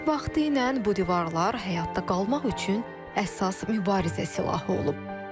Vaxtilə bu divarlar həyatda qalmaq üçün əsas mübarizə silahı olub.